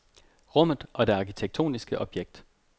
Rummet og det arkitektoniske objekt.